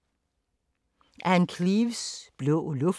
Ann Cleeves: Blå luft